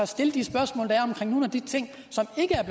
stille de spørgsmål der er omkring nogle af de ting